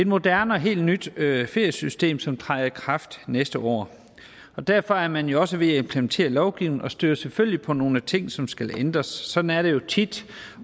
moderne og helt nyt feriesystem som træder i kraft næste år og derfor er man også ved at implementere lovgivning og støder selvfølgelig på nogle ting som skal ændres sådan er det jo tit